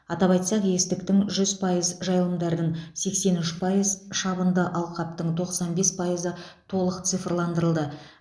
атап айтсақ естіктің жүз пайыз жайылымдардың сексен үш пайыз шабынды алқаптың тоқсан бес пайызы толық цифрландырылды